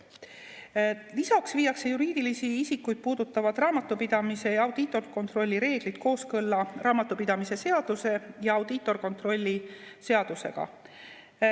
Lisaks viiakse juriidilisi isikuid puudutavad raamatupidamise ja audiitorkontrolli reeglid kooskõlla raamatupidamise seaduse ja audiitorkontrolli seadusega.